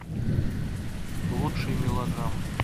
лучшие мелодрамы